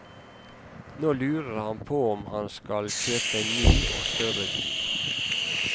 Nå lurer han på om han skal kjøpe en ny og større bil.